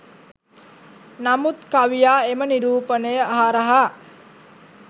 නමුත් කවියා එම නිරූපණය හරහා